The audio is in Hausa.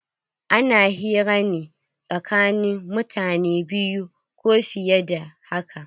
Ana hira ne tsakanin mutane biyu ko fiye da haka.